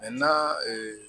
na